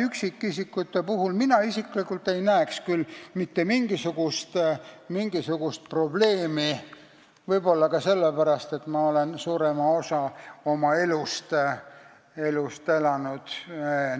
Üksikisikute puhul ei näeks mina isiklikult küll mitte mingisugust probleemi – võib-olla ka sellepärast, et ma olen suurema osa oma elust elanud